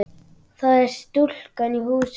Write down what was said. Það er stúlkan í húsinu.